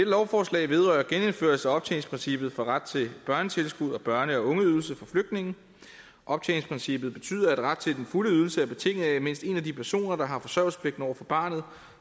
lovforslag vedrører genindførelse af optjeningsprincippet for ret til børnetilskud og børne og ungeydelse for flygtninge optjeningsprincippet betyder at ret til den fulde ydelse er betinget af at mindst en af de personer der har forsørgelsespligt over for barnet